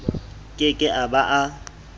ke ke a ba a